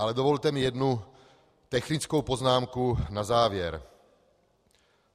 Ale dovolte mi jednu technickou poznámku na závěr.